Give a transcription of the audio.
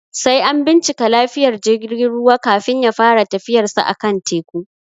Sai an binciki lafiyar jigin ruwa, kafin ya fara tafiyarsa a kan teku.